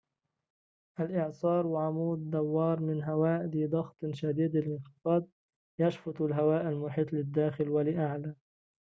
الإعصار عمود دوار من هواء ذي ضغط شديد الانخفاض يشفط الهواء المحيط للداخل ولأعلى